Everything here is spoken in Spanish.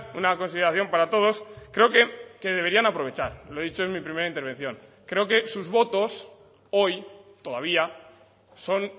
una consideración para todos creo que deberían aprovechar lo he dicho en mi primera intervención creo que sus votos hoy todavía son